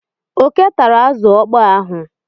Oké tara azụ ọkpọọ ahụ.